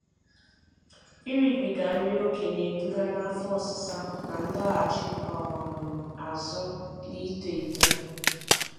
Ịribiga nri okè na-eduga n'afọ ọsịsa na ndọghachị um azụ n'ito eto